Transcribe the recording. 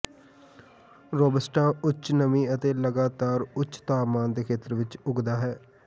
robusta ਉੱਚ ਨਮੀ ਅਤੇ ਲਗਾਤਾਰ ਉੱਚ ਤਾਪਮਾਨ ਦੇ ਖੇਤਰ ਵਿਚ ਉੱਗਦਾ ਹੈ